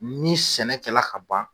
Ni sɛnɛ kɛ la ka ban